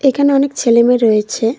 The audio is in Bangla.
এখানে অনেক ছেলেমেয়ে রয়েছে।